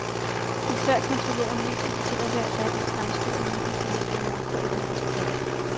De svært kontrollerede medier fortæller hver dag om fremskridt og nye fantastiske makroøkonomiske tal.